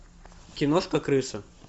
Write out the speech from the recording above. киношка крыса